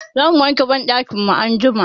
Za mu wanke banɗakin mu anjima.